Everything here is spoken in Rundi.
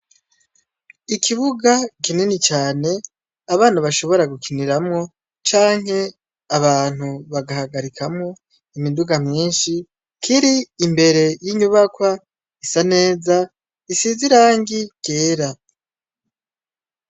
Ikibuga kinini cane abana bashobora gukiniramwo, canke abantu bagahagarikamwo imiduga myinshi ,kir'imbere y'inyubakwa isa neza isize irangi ryera.